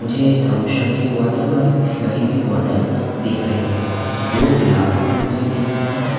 मुझे एक थमशप की बॉटल और एक बिसलरी की बॉटल दिख रही है। दो गिलास भी मुझे दिख रहे हैं।